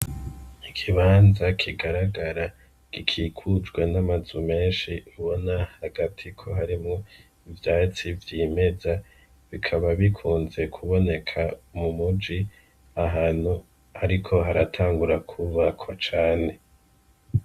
Ikibanza kigaragara gikikujwe n'amazu menshi ubona hagati ko harimwo ivyatsi vyimeza ,bikaba bikunze kuboneka mumuji ,ahantu hariko hatangura kwubakwa cane .